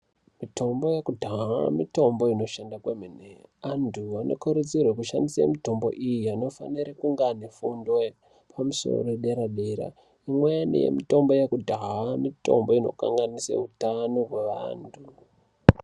Mitombo yekudhaya mitombo inoshanda kwemene antu anokurudzirwe kushandisa mitombo iyi anofanire kunge ane fundo yepamusoro dera dera imweni yemitombo yekudhaya mitombo inokanganise hutano hweantu.